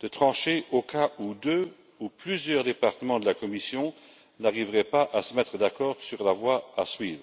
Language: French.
de trancher au cas où deux ou plusieurs départements de la Commission n'arriveraient pas à se mettre d'accord sur la voie à suivre.